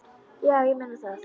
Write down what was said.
Já, ég meina það.